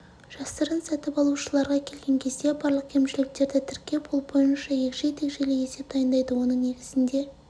жасырын сатып алушыларға келген кезде барлық кемшіліктерді тіркеп ол бойынша егжей-тегжейлі есеп дайындайды оның негізінде